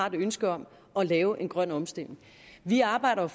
ønske om at lave en grøn omstilling vi arbejder